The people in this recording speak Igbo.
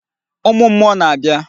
Ụmụ mmụọ na-abịa.